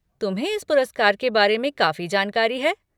तुम्हें इस पुरस्कार के बारे में काफ़ी जानकारी है।